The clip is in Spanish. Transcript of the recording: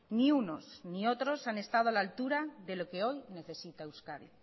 ni unos ni otros han estado a la altura de lo que hoy necesita euskadi